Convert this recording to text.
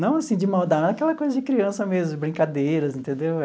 Não assim de maldade, aquela coisa de criança mesmo, brincadeiras, entendeu?